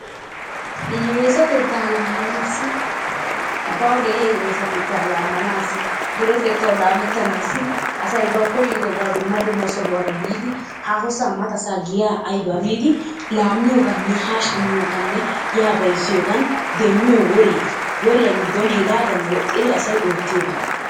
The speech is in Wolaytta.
Hiyyeesatetta laamanaassi bawu de'iyaa hiyyeesatetta laamanassi duretettawu laamettanassi asay ba koyyidobaa dumma dumma sohuwaara biidi haahosa matasa giyaa aybaa biidi laammiyoogaanne ha shammiyoogaanne ya bayzziyoogan asay demmiyo woriyaa, woriyaa giddon asay woxxidi oottiyoobata.